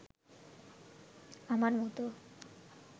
আমার মতো